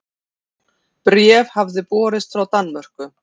Bréf hafði borist frá Danmörku.